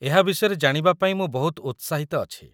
ଏହା ବିଷୟରେ ଜାଣିବା ପାଇଁ ମୁଁ ବହୁତ ଉତ୍ସାହିତ ଅଛି ।